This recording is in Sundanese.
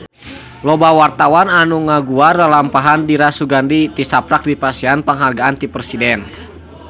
Loba wartawan anu ngaguar lalampahan Dira Sugandi tisaprak dipasihan panghargaan ti Presiden